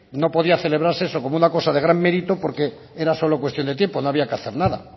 no podía celebrarse eso como una cosa de gran mérito porque era solo cuestión de tiempo no había que hacer nada